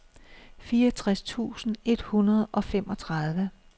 fireogtres tusind et hundrede og femogtredive